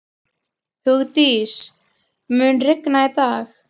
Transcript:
Hugdís, mun rigna í dag?